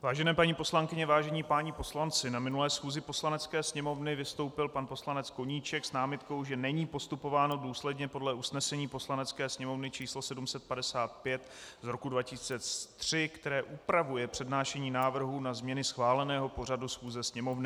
Vážené paní poslankyně, vážení páni poslanci, na minulé schůzi Poslanecké sněmovny vystoupil pan poslanec Koníček s námitkou, že není postupováno důsledně podle usnesení Poslanecké sněmovny číslo 755 z roku 2003, které upravuje přednášení návrhů na změny schváleného pořadu schůze Sněmovny.